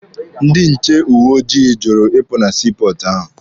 Ndị nche uwe ojii jụrụ ịpụ na sii pọọtụ ahụ.